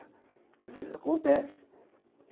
Às vezes, acontece.